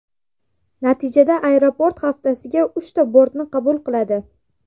Natijada aeroport haftasiga uchta bortni qabul qiladi.